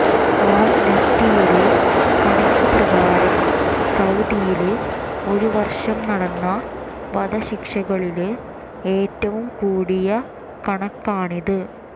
ആംനസ്റ്റിയുടെ കണക്ക് പ്രകാരം സൌദിയില് ഒരു വര്ഷം നടന്ന വധശിക്ഷകളില് ഏറ്റവും കൂടിയ കണക്കാണിത്